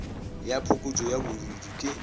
ya phokotšo ya bodiidi ke